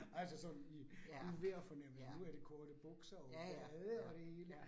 Altså som i uvejr fornemme nu er det korte bukser og bade og det hele